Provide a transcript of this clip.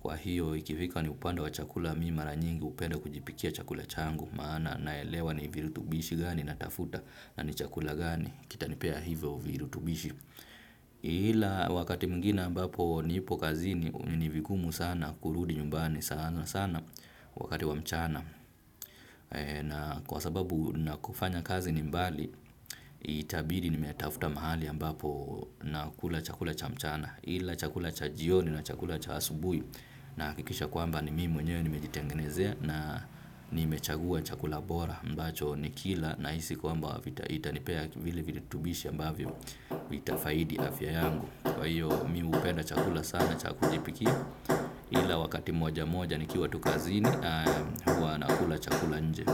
Kwa hiyo ikifika ni upande wa chakula mimi maranyingi upenda kujipikia chakula changu. Maana naelewa ni virutubishi gani natafuta na ni chakula gani kita nipea hivyo virutubisho. Ila wakati mwingine mbapo nipo kazini nivigumu sana kurudi nyumbani sana sana wakati wa mchana. Na kwa sababu nako kufanya kazi ni mbali itabidi nimetafuta mahali ambapo na kula chakula cha mchana. Ila chakula cha jioni na chakula cha asubuhi. Na hakikisha kwamba ni mime mwenyeweye ni mejitengenezea. Na ni mechagua chakula bora ambacho ni kila na hisi kwamba vitanipea. Vile viru tubishi ambavyo vita faidi afya yangu. Kwahiyo mimi hupenda chakula sana chakujipikia. Ila wakati moja moja nikiwa tu kazini. Huwa nakula chakula nje.